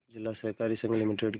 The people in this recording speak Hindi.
जिला सहकारी संघ लिमिटेड के